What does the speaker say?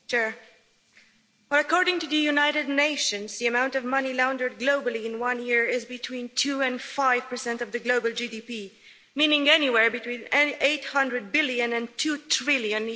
Mr President, according to the United Nations, the amount of money laundered globally in one year is between two and five percent of global GDP, meaning anywhere between USD 800 billion and USD 2 trillion.